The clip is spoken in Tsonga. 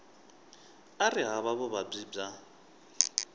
a ri hava vuvabyi bya